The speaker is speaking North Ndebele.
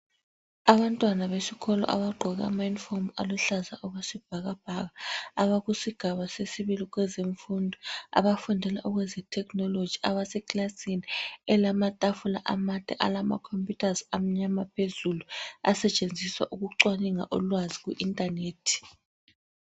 Abantwana besikolo abagqoke ama uniform aluhlaza okwesibhakabhaka, abakusigaba sesibili kwezemfundo abafundela eze technology abasekilasini elamatafula amade alama computers amnyama phezulu asetshenziswa ukuceaninga ulwazi ku internet.